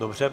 Dobře.